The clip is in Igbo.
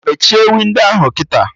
Mechie windo ahụ kịta!